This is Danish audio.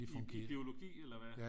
I biologi eller hvad